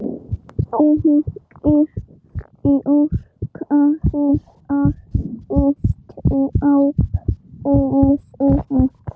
Engir fjörkálfar í strápilsum núna.